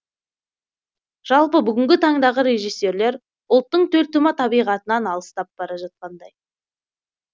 жалпы бүгінгі таңдағы режиссерлер ұлттың төлтума табиғатынан алыстап бара жатқандай